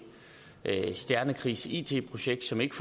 stjernekrigs it projekt som ikke